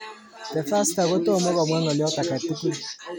The Fasta kotomo komwa ngoliot alak tugul.